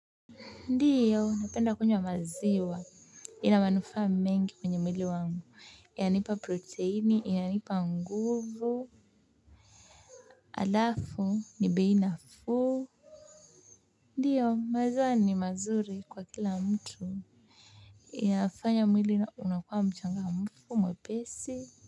Ndiyo, napenda kunywa maziwa. Ina manufaa mengi kwenye mwili wangu. Inanipa proteini, inanipa nguvu, alafu, ni bei nafuu. Ndiyo, maziwa ni mazuri kwa kila mtu. Inafanya mwili unakuwa mchangamfu mwepesi.